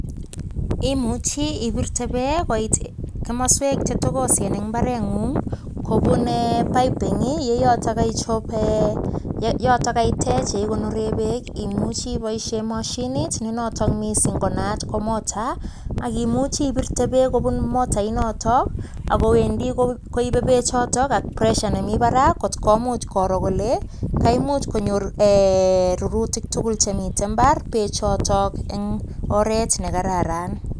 Imuchi ibirte beek koit kimaswek che togosen eng mbareng'ung, kobun piping, ye yotok kaicho, ye yotok kaitech ye igonore beek. Imuchi iboisie moshinit ne notok mising ko naat ko motor, akimuchi ibirte beek kobun motor inotok, ago wendi koibe bechotok ak pressure nemi barak kot komuch koro kole kaimuch konyor rurutik tugul chemite mbar bechotok eng oret ne kararan.